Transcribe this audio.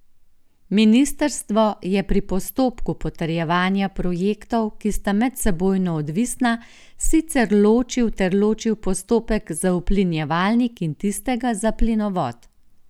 Ministrstvo je pri postopku potrjevanja projektov, ki sta medsebojno odvisna, sicer ločil ter ločil postopek za uplinjevalnik in tistega za plinovod.